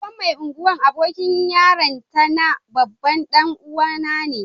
Sabon Mai Ungwan abokin yaranta na babban dan uwa na ne.